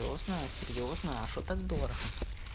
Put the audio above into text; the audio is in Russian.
серьёзно серьёзно а что так дорого